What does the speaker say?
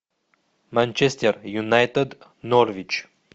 манчестер юнайтед норвич